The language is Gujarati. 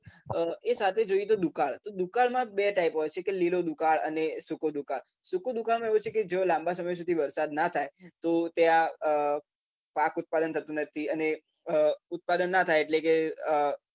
એ સાથે જોઈએ તો દુકાળ તો દુકાળમાં બે type હોય છે કે લીલો દુકાળ અને સુકો દુકાળ સુકો દુકાળમાં એવું હોય છે કે જો લાંબા સમય સુધી વરસાદ ના થાય તો ત્યાં પાક ઉત્પાદન થતું નથી અને ઉત્પાદન ના થાય એટલે કે